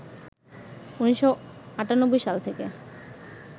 ১৯৯৮সাল থেকে